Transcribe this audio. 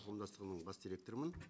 қауымдастығының бас директорымын